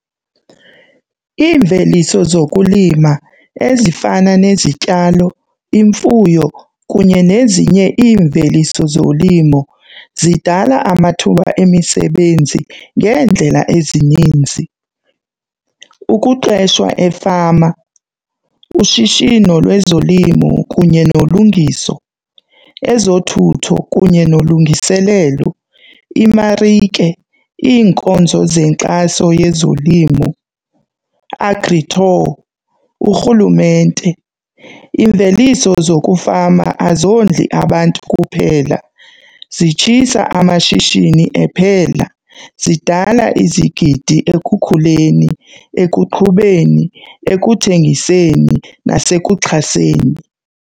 Iimveliso zokulima ezifana nezityalo imfuyo kunye nezinye iimveliso zolimo zidala amathuba emisebenzi ngeendlela ezininzi. Ukuqeshwa efama, ushishino lwezolimo kunye nolungiso, ezothutho kunye nolungiselelo, imarike, iinkonzo zenkxaso yezolimo, agritour, uRhulumente. Imveliso zokufama azondli abantu kuphela, zitshisa amashishini ephela, zidala izigidi ekukhuleni, ekuqhubeni, ekuthengiseni, nasekuxhaseni.